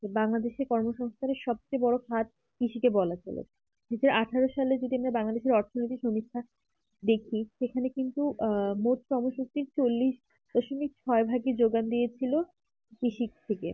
বাংলাদেশএর কর্মসংস্থানের যে বড় খাদ কৃষিকে বলা যাবে আঠেরো সালে যদি আমরা বাঙালি অর্থনৈতিক সংস্থান দেখি সেখানে কিন্তু আহ মতো ক্রোম সংখিক চল্লিশ দশমিক ছয় ভাগের যোগান দিয়েছিলো কৃষি থেকে